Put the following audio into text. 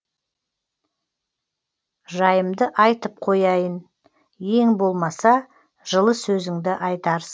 жайымды айтып қояйын ең болмаса жылы сөзіңді айтарсың